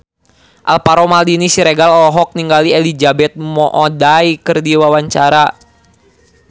Alvaro Maldini Siregar olohok ningali Elizabeth Moody keur diwawancara